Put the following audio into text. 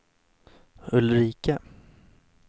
Ulrika